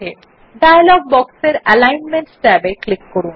dialogue বক্সের alignment ট্যাবে click করুন